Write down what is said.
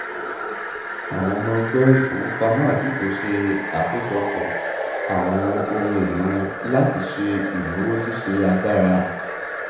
àwọn ọmọ ẹgbẹ ìfowópamọ àdúgbò ṣe àkójọpọ àwọn ohun èlò wọn láti ṣe ìnáwó ṣíṣe agbára